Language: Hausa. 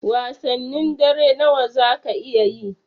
Wasannin dare nawa zaka iya yi?